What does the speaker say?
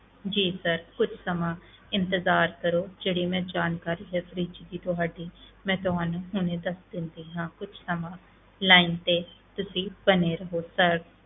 ਜੀ sir ਕੁਛ ਸਮਾਂ ਇੰਤਜ਼ਾਰ ਕਰੋ ਜਿਹੜੀ ਮੈਂ ਜਾਣਕਾਰੀ ਇਹ fridge ਦੀ ਤੁਹਾਡੀ ਮੈਂ ਤੁਹਾਨੂੰ ਹੁਣੇ ਦੱਸ ਦਿੰਦੀ ਹਾਂ ਕੁਛ ਸਮਾਂ line ਤੇ ਤੁਸੀਂ ਬਣੇ ਰਹੋ sir